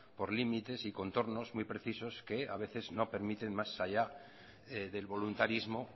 por límites y contornos muy precisos que a veces no permiten más allá del voluntarismo